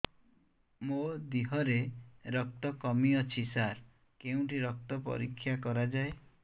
ମୋ ଦିହରେ ରକ୍ତ କମି ଅଛି ସାର କେଉଁଠି ରକ୍ତ ପରୀକ୍ଷା କରାଯାଏ